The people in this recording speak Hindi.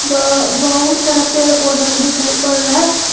प बहुत सारा पेड़ पौधा भी दिखाई पड़ रहा है।